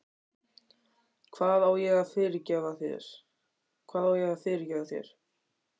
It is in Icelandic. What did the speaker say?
Hvað á ég að fyrirgefa þér?